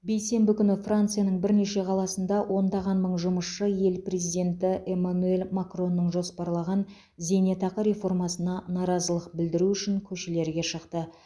бейсенбі күні францияның бірнеше қаласында ондаған мың жұмысшы ел президенті эмманюэль макронның жоспарлаған зейнетақы реформасына наразылық білдіру үшін көшелерге шықты